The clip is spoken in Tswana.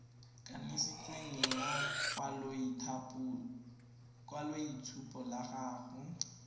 kanisitsweng ya lekwaloitshupo la gago